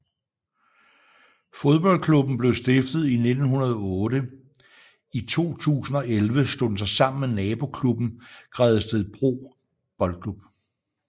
Fodboldklubben blev stiftet i 1908 i 2011 slog den sig sammen med nabo klubben Gredstedbro B